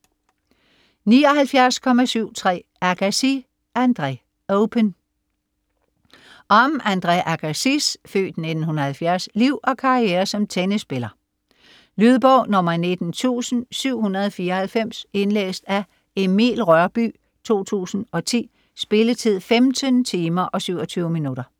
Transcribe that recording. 79.73 Agassi, Andre: Open Om Andre Agassis (f. 1970) liv og karriere som tennisspiller. Lydbog 19794 Indlæst af Emil Rørbye, 2010. Spilletid: 15 timer, 27 minutter.